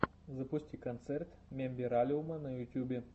запусти концерт мембералиума на ютьюбе